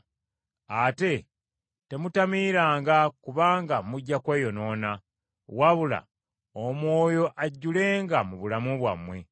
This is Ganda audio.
Ate temutamiiranga, kubanga mujja kweyonoona, wabula Omwoyo ajjulenga mu bulamu bwammwe.